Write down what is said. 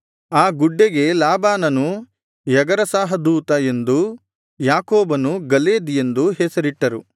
ಆ ಗುಡ್ಡೆಗೆ ಲಾಬಾನನು ಯಗರಸಾಹದೂತ ಎಂದೂ ಯಾಕೋಬನು ಗಲೇದ್ ಎಂದೂ ಹೆಸರಿಟ್ಟರು